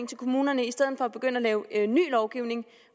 til kommunerne i stedet for at begynde at lave ny lovgivning